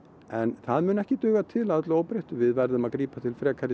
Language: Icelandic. en það mun ekki duga til að öllu óbreyttu við verðum að grípa til frekari